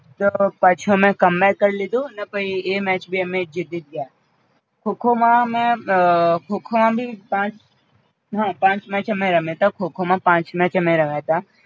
તો પાછું એમને Comeback કરી લીધું અને પઈ એ match ભી અમે જીતી જ ગયા, ખો ખો માં અમે અ ખો ખો માં ભી પાંચ હ પાંચ match અમે રમ્યાતા ખો ખો માં પાંચ match અમે રમ્યાતા